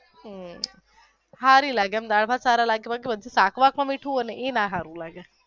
હમ્મ સારી લાગે એમ દાળભાત સારા લાગે શાક માં મીઠું હોઈ ને એ નો સારું લાગે.